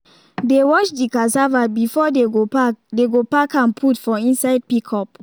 they wash the cassava before they go pack they go pack am put for inside pickup